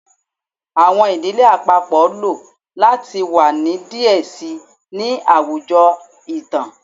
Awọn idile apapọ lo lati wa ni diẹ sii ni awọn awujọ itan